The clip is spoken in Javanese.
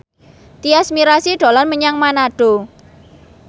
Tyas Mirasih dolan menyang Manado